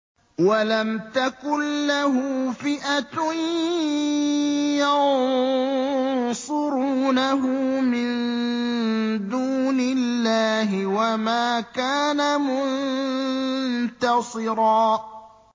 وَلَمْ تَكُن لَّهُ فِئَةٌ يَنصُرُونَهُ مِن دُونِ اللَّهِ وَمَا كَانَ مُنتَصِرًا